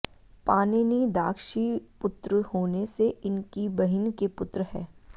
पाणिनि दाक्षीपुत्र होने से इनकी बहिन के पुत्र है